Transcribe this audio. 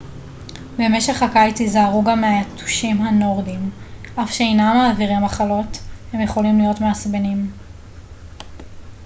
במשך הקיץ היזהרו גם מהיתושים הנורדיים אף שאינם מעבירים מחלות הם יכולים להיות מעצבנים